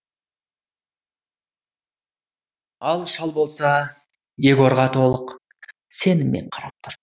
ал шал болса егорға толық сеніммен қарап тұр